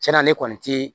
Cɛn na ne kɔni ti